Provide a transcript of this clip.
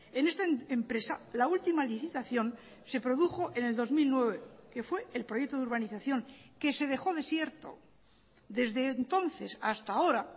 en esta empresa la última licitación se produjo en el dos mil nueve que fue el proyecto de urbanización que se dejó desierto desde entonces hasta ahora